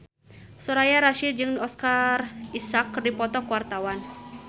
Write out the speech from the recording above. Soraya Rasyid jeung Oscar Isaac keur dipoto ku wartawan